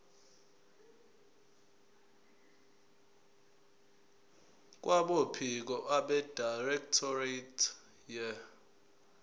kwabophiko abedirectorate ye